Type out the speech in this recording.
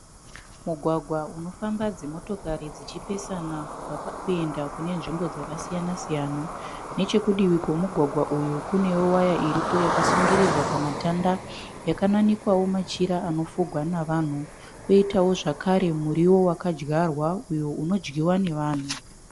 Mugwagwa unofamba dzimotokari dzichipesana kuenda kunenzvimbo dzakasiyana siyana. Nechekudivi kwemugwagwa uyu kunewowaya yakasungirirwa pamatanda yakananikwawo machira anofugwa nevanhu. Poitawo zvakare muriwo wakadyawa uyo nevanhu.